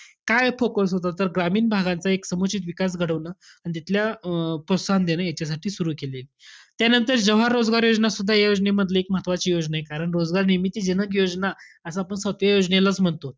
काय focus होता तर, ग्रामीण भागांचा एक समुचित विकास घडवणं आणि तिथल्या अं प्रोत्साहन देणं याच्यासाठी सुरु केली. त्यानंतर जवाहर रोजगार योजनासुद्धा, या योजनेमध्ये एक महत्वाची योजना आहे कारण रोजगार निर्मिती जनक योजना असं आपण सातव्या योजनेलाच म्हणतो.